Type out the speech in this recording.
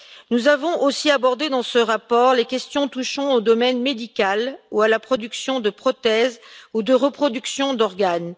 Nous avons aussi abordé dans ce rapport les questions touchant au domaine médical ou à la production de prothèses ou de reproduction d'organes.